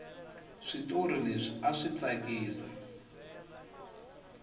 switori leswi aswi tsakisi